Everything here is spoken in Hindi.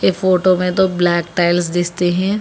फोटो में तो ब्लैक टाइल्स हैं।